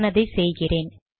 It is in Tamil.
நான் அதை செய்கிறேன்